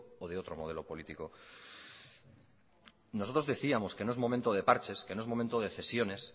o de otro modelo político nosotros decíamos que no es momento de parches que no es momento de cesiones